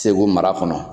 Segu mara kɔnɔ